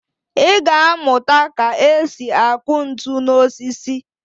Ị ga-amụta ka e si akụ ntu n'osisi